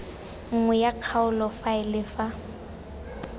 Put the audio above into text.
nngwe ya kgaolo faele fa